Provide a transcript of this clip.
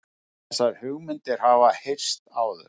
Þessar hugmyndir hafa heyrst áður